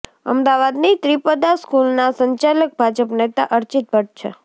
અમદાવાદની ત્રિપદા સ્કૂલના સંચાલક ભાજપ નેતા અર્ચિત ભટ્ટ છે